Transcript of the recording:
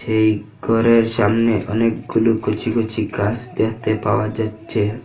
এই ঘরের সামনে অনেকগুলো কচি কচি গাছ দেখতে পাওয়া যাচ্ছে।